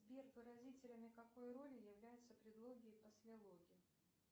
сбер выразителями какой роли являются предлоги и послелоги